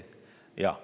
Jah.